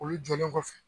Olu jɔlen kɔfɛ